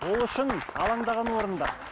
ол үшін алаңдаған орынды